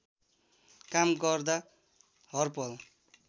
काम गर्दा हरपल